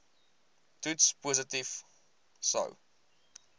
toets positief sou